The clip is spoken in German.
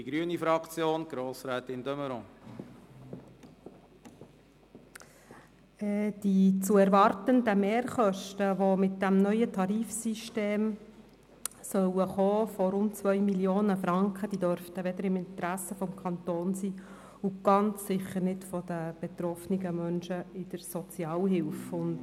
Die zu erwartenden Mehrkosten von rund 2 Mio. Franken, die mit diesem neuen Tarifsystem kommen sollen, dürften nicht im Interesse des Kantons und ganz sicher nicht im Interesse der betroffenen Menschen in der Sozialhilfe liegen.